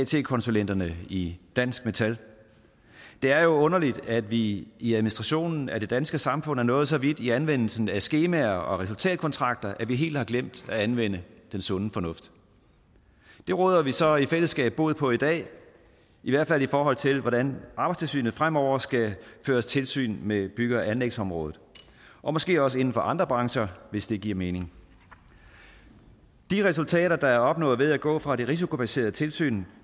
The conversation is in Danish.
konsulenterne i dansk metal det er jo underligt at vi i i administrationen af det danske samfund er nået så vidt i anvendelsen af skemaer og resultatkontrakter at vi helt har glemt at anvende den sunde fornuft det råder vi så i fællesskab bod på i dag i hvert fald i forhold til hvordan arbejdstilsynet fremover skal føre tilsyn med bygge og anlægsområdet og måske også inden for andre brancher hvis det giver mening de resultater der er opnået ved at gå fra det risikobaserede tilsyn